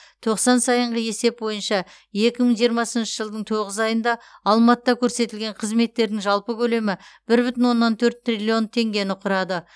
тоқсан сайынғы есеп бойынша екі мың жиырмасыншы жылдың тоғыз айында алматыда көрсетілген қызметтердің жалпы көлемі бір бүтін оннан төрт триллион теңгені құрады